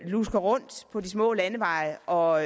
lusker rundt på de små landeveje og